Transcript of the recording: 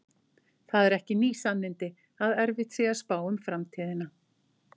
Það eru ekki ný sannindi að erfitt sé að spá um framtíðina.